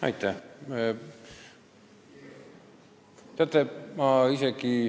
Aitäh!